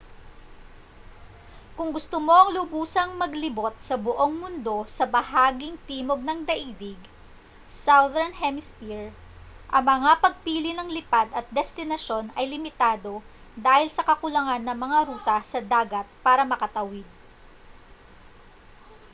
kung gusto mong lubusang maglibot sa buong mundo sa bahaging timog ng daigdig southern hemisphere ang mga pagpili ng lipad at destinasyon ay limitado dahil sa kakulangan ng mga ruta sa dagat para makatawid